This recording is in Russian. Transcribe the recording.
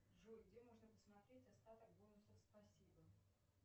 джой где можно посмотреть остаток бонусов спасибо